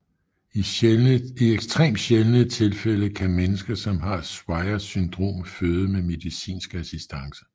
I ekstremt sjældne tilfælde kan mennesker som har Swyers syndrom føde med medicinsk assistance